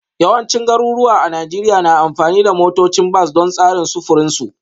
Yawancin garuruwa a Najeriya na amfani da motocin bas don tsarin sufurin su